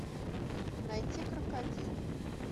найти крокодил